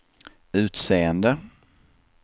utseende